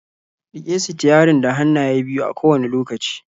Rike sitiyarin da hannaye biyu a kowane lokaci.